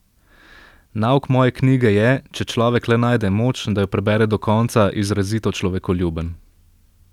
Nauk moje knjige je, če človek le najde moč, da jo prebere do konca, izrazito človekoljuben.